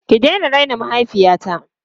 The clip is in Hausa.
Ki daina raina mahaifiyata!